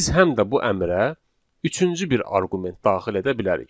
Biz həm də bu əmrə üçüncü bir arqument daxil edə bilərik.